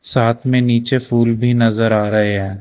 साथ में नीचे फूल भी नजर आ रहे हैं।